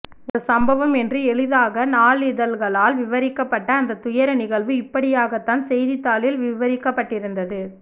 ஒரு சம்பவம் என்று எளிதாக நாளிதழ்களால் விவரிக்கப்பட்ட அந்த துயர நிகழ்வு இப்படியாகத் தான் செய்திதாளில் விவரிக்கபட்டிருந்தது